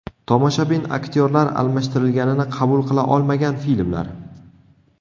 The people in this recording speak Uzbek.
Tomoshabin aktyorlar almashtirilganini qabul qila olmagan filmlar.